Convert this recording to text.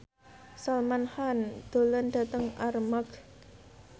Salman Khan lunga dhateng Armargh